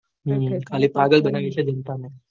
હમ એટલે પાગલ બનાવે જનતા ને